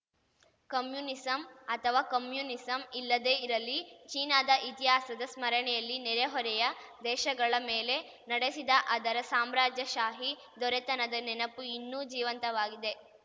communism ಅಥವಾ communism ಇಲ್ಲದೇ ಇರಲಿ ಚೀನಾದ ಇತಿಹಾಸದ ಸ್ಮರಣೆಯಲ್ಲಿ ನೆರೆಹೊರೆಯ ದೇಶಗಳ ಮೇಲೆ ನಡೆಸಿದ ಅದರ ಸಾಮ್ರಾಜ್ಯಶಾಹಿ ದೊರೆತನದ ನೆನಪು ಇನ್ನೂ ಜೀವಂತವಾಗಿದೆ